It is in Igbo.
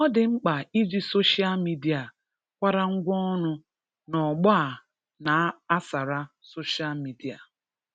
Ọ dị mkpa iji soshal midia kwarangwa ọrụ n'ọgbọ a na-ásàrá soshal midia.